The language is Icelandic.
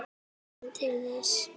Ég hvatti hann til þess.